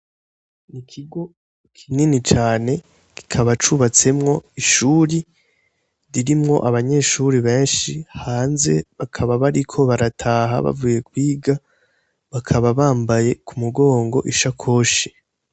Ikigo kinini cane kikaba cubatsemwo ishuri ririmwo abanyeshuri benshi hanze bakaba bariko barataha, bavuye kwiga, bakaba bambaye ku mugongo ishakoshi